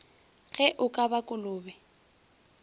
ge o ka ba kolobe